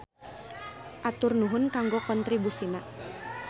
Atur nuhun kanggo kontribusina.